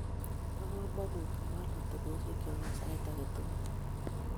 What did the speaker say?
Bo komonut kewaal atebosiekyo eng sait age tugul